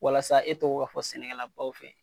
Walasa e tɔgɔ ka fɔ sɛnɛkɛla baw fɛ